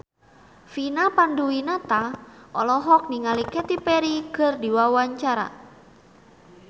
Vina Panduwinata olohok ningali Katy Perry keur diwawancara